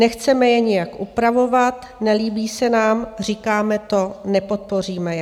Nechceme je nijak upravovat, nelíbí se nám - říkáme to, nepodpoříme je.